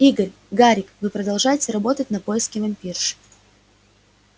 игорь гарик вы продолжаете работать на поиске вампирши